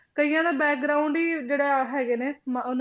ਕਈਆਂ ਦਾ ਹੀ ਜਿਹੜਾ ਹੈਗੇ ਨੇ ਮ~ ਉਹਨਾਂ